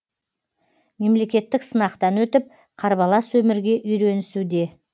мемлекеттік сынақтан өтіп қарбалас өмірге үйренісуде